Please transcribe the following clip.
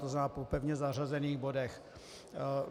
To znamená po pevně zařazených bodech.